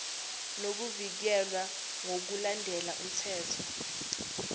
nokuvikelwa ngokulandela umthetho